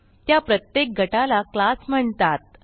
त्या प्रत्येक गटाला क्लास म्हणतात